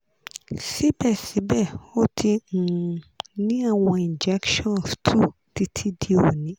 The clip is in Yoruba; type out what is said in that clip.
sibẹsibẹ o ti um ni awọn injections two titi di oni